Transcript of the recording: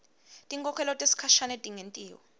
tinkhokhelo tesikhashane tingentiwa